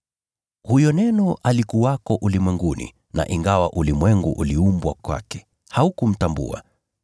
Huyo Neno alikuwako ulimwenguni na ingawa ulimwengu uliumbwa kupitia kwake, haukumtambua.